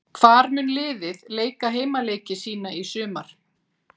Hvar mun liðið leika heimaleiki sína í sumar?